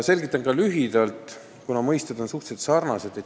Selgitan ka lühidalt mõisteid, mis on suhteliselt sarnased.